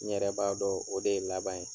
N yɛrɛ b'a dɔn o de ye laban ye.